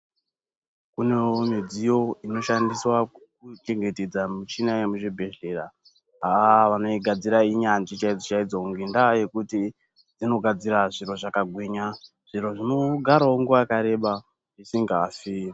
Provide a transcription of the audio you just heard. Kunewo midziyo inoshandiswa kuchengetedza mishini yemuzvibhedhlera, aaah vanoigadzira inyanzvi chaidzo chaidzo ngendaa yokuti inogadzira zviro zvakagwinya, zviro zvinogarawo nguwa yakareba zvisingafi.